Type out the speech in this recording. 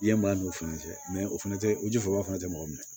I ye maa n'o fana cɛ mɛ o fana tɛ o ji fɔ ba fana tɛ mɔgɔ minɛ